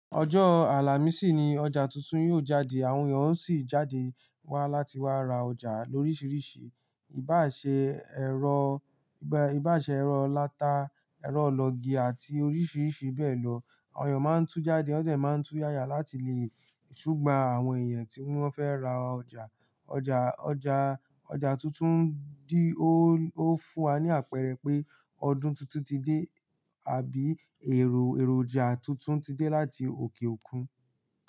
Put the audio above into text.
Ọjọ́ Àlàmísì ni ọjà tuntun yóò jáde, àwọn èèyàn ó sì jáde wá láti wá ra ọjà loríṣiríṣi, ìbá ṣe, ẹ̀rọ, ìbá ṣe ẹ̀rọ ìláta, ẹ̀rọ ìlọ́gi àti oríṣiríṣi bẹ́ẹ̀ lọ. Àwọn èèyàn máa ń tú jáde, wọn ò jẹ̀ máa ń tú yáya láti lè súgbà àwọn ẹ̀yàn tí wọ́n fẹ́ ra ọjà. Ọjà, ọjà, ọjà tuntun dì ó, ó fún wa ní àpẹẹrẹ pé ọdún tuntun ti dé àbí èrò, èròjà tuntun ti dé láti òkè òkun.